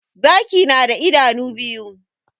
Zaki na da idanu biyu